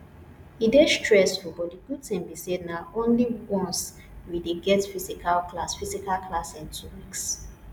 e dey stressful but the good thing be say na only once we dey get physical class physical class in two weeks